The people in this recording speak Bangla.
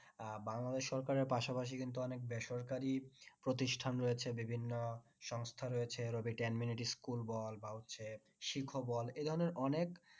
আহ বাংলাদেশ সরকারের পাশাপাশি কিন্তু অনেক বেসরকারি প্রতিষ্ঠান রয়েছে বিভিন্ন সংস্থা রয়েছে school বল বা হচ্ছে বল এই ধরণের অনেক